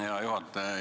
Hea juhataja!